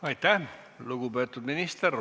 Aitäh, lugupeetud minister!